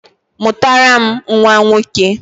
Mụtara m nnwa nwoke!